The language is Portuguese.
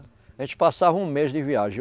A gente passava um mês de viagem.